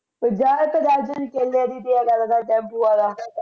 ਤੇ ਜਾ ਕੇਲੇ ਦੀ ਤੇ ਆਹ ਟੈਮਪੁ ਵਾਲਾ